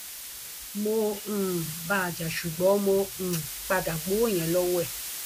mo um bá a jà ṣùgbọn mo um padà gbowó yẹn lọwọ ẹ